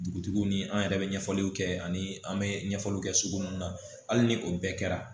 Dugutigiw ni an yɛrɛ bɛ ɲɛfɔliw kɛ ani an bɛ ɲɛfɔliw kɛ sugu mun na hali ni o bɛɛ kɛra